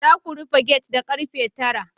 Za ku rufe gate da karfe 9